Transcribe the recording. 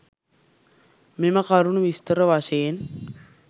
මෙම කරුණු විස්තර වශයෙන්